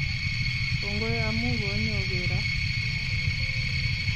Kongoi amu konyogero